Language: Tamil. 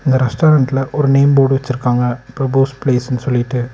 இந்த ரெஸ்டாரண்ட்ல ஒரு நேம் போட் வெச்சிருக்காங்க பிரபுஸ் பிளேஸ்னு சொல்லிட்டு.